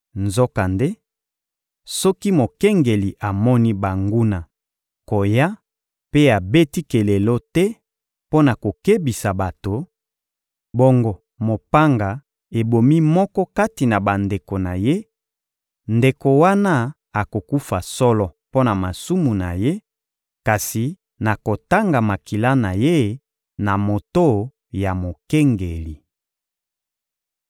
Nzokande, soki mokengeli amoni banguna koya mpe abeti kelelo te mpo na kokebisa bato, bongo mopanga ebomi moko kati na bandeko na ye, ndeko wana akokufa solo mpo na masumu na ye, kasi nakotanga makila na ye na moto ya mokengeli.›